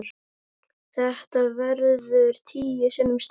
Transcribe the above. Þetta verður tíu sinnum stærra.